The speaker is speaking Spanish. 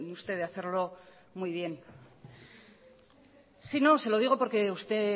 usted de hacerlo muy bien sí no se lo digo porque usted